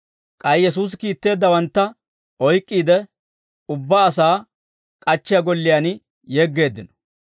K'ay Yesuusi kiitteeddawantta oyk'k'iide, ubbaa asaa k'achchiyaa golliyaan yeggeeddino.